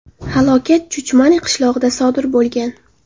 Halokat Chuchmani qishlog‘ida sodir bo‘lgan.